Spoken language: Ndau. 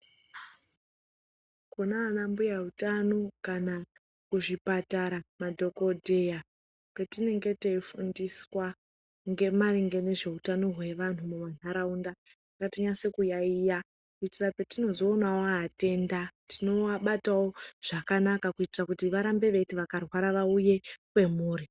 Kunaana mbuya hutano kana muzvipatara, madhokodeya petinenge tiyifundiswa ngemaringe ngezvehutano hwevanhu vemuntaraunda tinyasokuyayiya kuitirakuti petinozowonawowatenda tonowabatawo zvakanaka kuitira kuti varambe beyiti vakarwara vauye kwamuri.